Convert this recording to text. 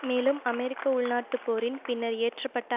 மேலும் அமெரிக்க உள்நாட்டுப் போரின் பின்னர் இயற்ற பட்ட